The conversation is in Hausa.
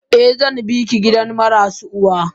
Eh zanbiki gidan marasu uwa.